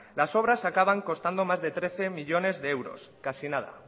las obras acaban costando más de trece millónes de euros casi nada